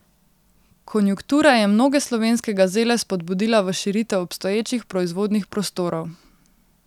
Konjunktura je mnoge slovenske gazele spodbudila v širitev obstoječih proizvodnih prostorov.